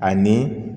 Ani